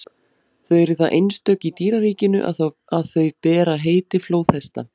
þau eru það einstök í dýraríkinu að þau bera heiti flóðhesta